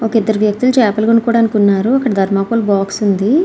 ఇద్దరు వ్యక్తులు చేపలు కొనుక్కోడానికి ఉన్నారు. ఒకటి ధర్మకోల్ బాక్స్ ఉంది.